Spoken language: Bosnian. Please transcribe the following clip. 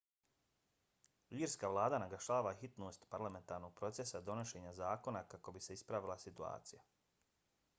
irska vlada naglašava hitnost parlamentarnog procesa donošenja zakona kako bi se ispravila situacija